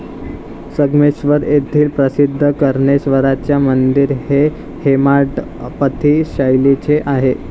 संगमेश्वर येथील प्रसिद्ध कर्णेश्वराचे मंदिर हे हेमाडपंथी शैलीचे आहे.